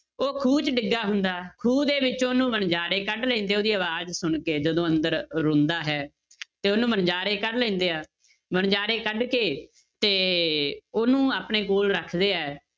ਉਹ ਖੂਹ 'ਚ ਡਿੱਗਾ ਹੁੰਦਾ, ਖੂਹ ਦੇ ਵਿੱਚ ਉਹਨੂੰ ਵਣਜ਼ਾਰੇ ਕੱਢ ਲੈਂਦੇ ਉਹਦੀ ਆਵਾਜ਼ ਸੁਣਕੇ ਜਦੋਂ ਅੰਦਰ ਰੋਂਦਾ ਹੈ ਤੇ ਉਹਨੂੰ ਵਣਜ਼ਾਰੇ ਕੱਢ ਲੈਂਦੇ ਆ, ਵਣਜ਼ਾਰੇ ਕੱਢ ਕੇ ਤੇ ਉਹਨੂੰ ਆਪਣੇ ਕੋਲ ਰੱਖਦੇ ਹੈ,